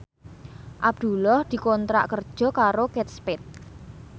Abdullah dikontrak kerja karo Kate Spade